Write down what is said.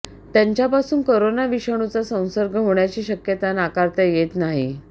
त्यांच्यापासून कोरोना विषाणूचा संसर्ग होण्याची शक्यता नाकारता येत नाही